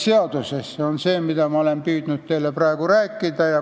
See on see, mida ma olen püüdnud teile rääkida.